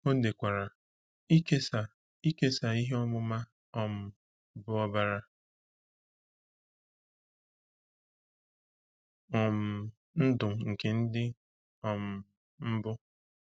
O dekwara: “Ịkesa “Ịkesa ihe ọmụma um bụ ọbara um ndụ nke ndị um mbụ.”